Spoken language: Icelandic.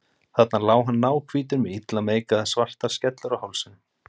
Þarna lá hann náhvítur með illa meikaðar svartar skellur á hálsinum.